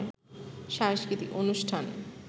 সাংস্কৃতিক অনুষ্ঠান